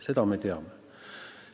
Seda me teame.